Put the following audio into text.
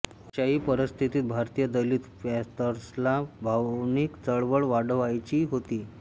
अष्याही परिस्थितीत भारतीय दलित पॅंथर्सला भावनीक चळवळ वाढवायचीच होती